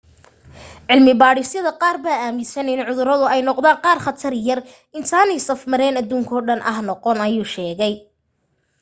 cilmi baadhisyada qaar baa aaminsan in cuduradu ay noqdaan qaar khatar yar intaanay safmareen aduunkoo dhan ah noqon ayuu sheegay